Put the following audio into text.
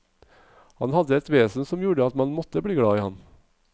Han hadde et vesen som gjorde at man måtte bli glad i ham.